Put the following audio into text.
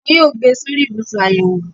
Wọn yóò gbé e sórí ibùsùn àyẹ̀wò